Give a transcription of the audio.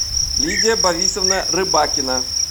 лидия борисовна рыбакина